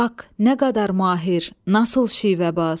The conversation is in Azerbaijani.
Bax, nə qədər mahir, nasıl şivəbaz.